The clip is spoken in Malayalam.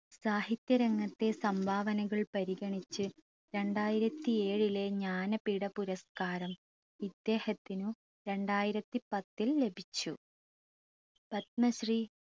സാഹിത്യ രംഗത്തെ സംഭാവനകൾ പരിഗണിച്ച് രണ്ടായിരത്തി ഏഴിലെ ജ്ഞാനപീഡ പുരസ്‌കാരം ഇദ്ദേഹത്തിനു രണ്ടായിരത്തി പത്തിൽ ലഭിച്ചു പത്മശ്രീ